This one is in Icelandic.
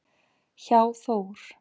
hjá Þór.